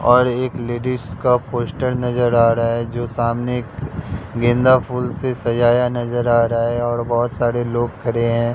और एक लेडिज का पोस्टर नजर आ रहा है जो सामने गेंदा फूल से सजाया नजर आ रहा है और बहोत सारे लोग खड़े हैं।